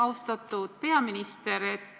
Austatud peaminister!